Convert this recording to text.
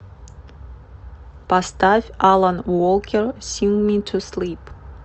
поставь алан волкер синг ми ту слип